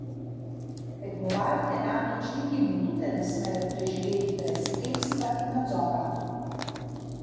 Tekmovalke namreč niti minute ne smejo preživeti brez spremstva in nadzora.